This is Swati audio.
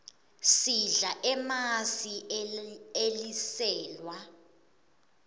sidla emasi eliselwa